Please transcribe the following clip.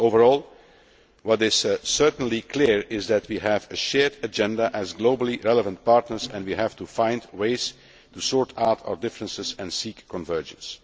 IMF. Overall, what is certainly clear is that we have a shared agenda as globally relevant partners and we have to find ways to sort out our differences and seek convergence.